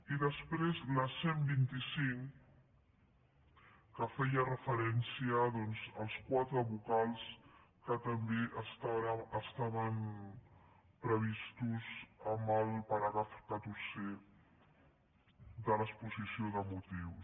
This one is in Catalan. i després la cent i vint cinc que feia referència doncs als quatre vocals que també estaven previstos en el paràgraf catorzè de l’exposició de motius